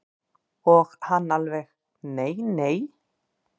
Og hann alveg nei nei.